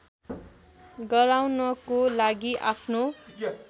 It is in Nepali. गराउनको लागि आफ्नो